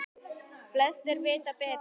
Flestir vita betur.